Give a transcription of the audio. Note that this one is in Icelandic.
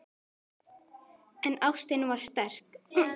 En ástin var sterk.